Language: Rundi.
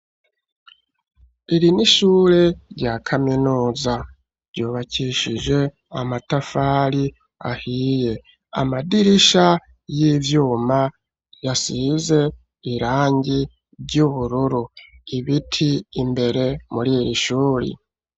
Iri ni ishure rya kaminuza, ryubakishije amatafari ahiye, amadirisha y'ivyuma yasize irangi ry’ubururu, ibiti imbere muri iri shure.